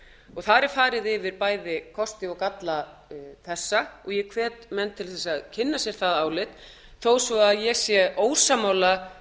og þar er farið yfir bæði kosti og galla þessa og ég hvet menn til að kynna sér það álit þó ég sé ósammála